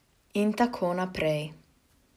In tako naprej ...